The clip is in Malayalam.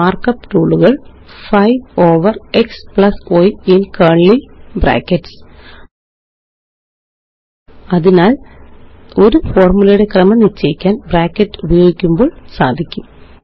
മാര്ക്കപ്പ് ടൂളുകള് 5 over xy in curly brackets അതിനാല് ഒരു ഫോര്മുലയുടെ ക്രമം നിശ്ചയിക്കാന് ബ്രാക്കറ്റുപയോഗിക്കുമ്പോള് സാധിക്കും